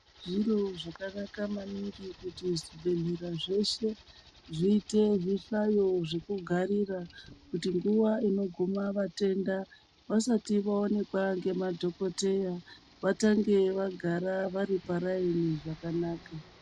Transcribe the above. Zviro zvakanaka maningi kuti zvibhedhlera zveshe zviite zvihlayo zvekugarira kuitira kuti nguwa inoguma vatenda vasati vaonekwa nema dhokodheya vatenge vagara varipa raini zvakanaka